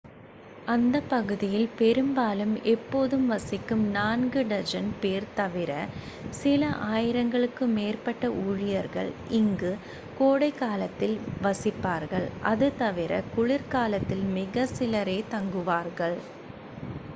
அந்தப் பகுதியில் பெரும்பாலும் எப்போதும் வசிக்கும் நான்கு4 டஜன் பேர் தவிர சில ஆயிரங்களுக்கு மேற்பட்ட ஊழியர்கள் இங்கு கோடைக்காலத்தில் வசிப்பார்கள்; அது தவிர குளிர்காலத்தில் மிக சிலரே தங்குவார்கள்